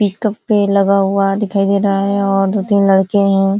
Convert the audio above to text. एक पेड़ लगा हुआ दिखाई दे रहा है और दो-तीन लड़के हैं ।